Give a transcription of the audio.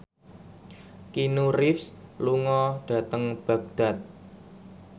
Keanu Reeves lunga dhateng Baghdad